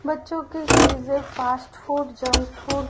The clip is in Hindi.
बच्चों की चीजे फास्ट फूड जंक फूड --